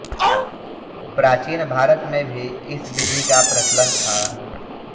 प्राचीन भारत में भी इस विधि का प्रचलन था